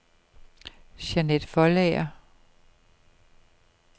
Jeanett Foldager